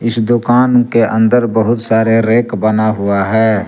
इस दुकान के अंदर बहुत सारे रैक बना हुआ है।